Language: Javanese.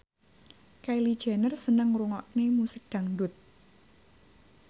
Kylie Jenner seneng ngrungokne musik dangdut